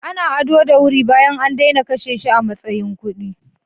Ana ado da wuri bayan an daina kashe shi a matsayin kuɗi.